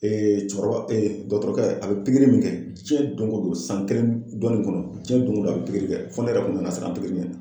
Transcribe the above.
cɛkɔrɔba dɔtɔrɔkɛ a bɛ pikiri min kɛ jiyɛn don o don san kelen ni dɔɔni nin kɔnɔ jiyɛn don o don a bɛ pikiri kɛ fɔ ne yɛrɛ kun nana siran pikiri ɲɛ.